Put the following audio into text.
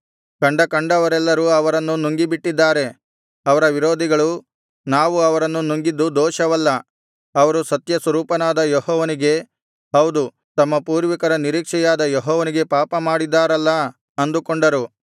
ಕಂಡಕಂಡವರೆಲ್ಲರೂ ಅವರನ್ನು ನುಂಗಿಬಿಟ್ಟಿದ್ದಾರೆ ಅವರ ವಿರೋಧಿಗಳು ನಾವು ಅವರನ್ನು ನುಂಗಿದ್ದು ದೋಷವಲ್ಲ ಅವರು ಸತ್ಯಸ್ವರೂಪನಾದ ಯೆಹೋವನಿಗೆ ಹೌದು ತಮ್ಮ ಪೂರ್ವಿಕರ ನಿರೀಕ್ಷೆಯಾದ ಯೆಹೋವನಿಗೆ ಪಾಪ ಮಾಡಿದರಲ್ಲಾ ಅಂದುಕೊಂಡರು